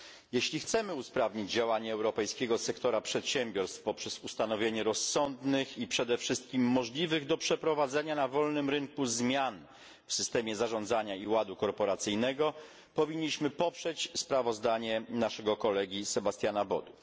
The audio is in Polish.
Jeśli chcemy usprawnić działanie europejskiego sektora przedsiębiorstw poprzez ustanowienie rozsądnych i przede wszystkim możliwych do przeprowadzenia na wolnym rynku zmian w systemie zarządzania i ładu korporacyjnego, powinniśmy poprzeć sprawozdanie naszego kolegi Sebastiana Bodu.